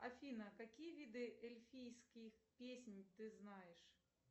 афина какие виды эльфийских песен ты знаешь